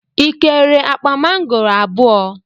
ị kere akpa mangoro abụọ?